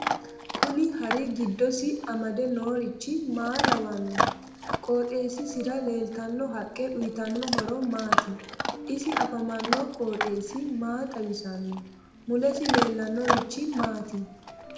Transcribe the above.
Kuni hari giddisi amade noorichi maa lawannohe qooxeesisira leeltanno haqqe uyiitanno horo maati isi afamanno qooxeesi maa xawisanno mulesi leellannorichi maati